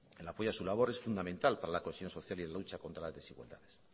el apoyo a su labor es fundamental para la cohesión social y en la lucha contra las desigualdades